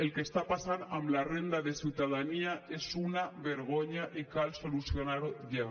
el que està passant amb la renda de ciutadania és una vergonya i cal solucionar ho ja